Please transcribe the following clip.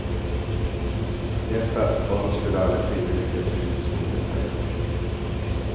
De är stadsbarn och skulle aldrig frivilligt ge sig ut i skogen, säger han.